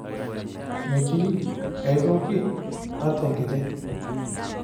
Metii aitoki ata enkiti.